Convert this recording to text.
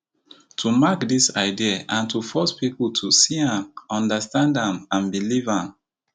to mark dis idea and to force pipo to see am understand am and believe am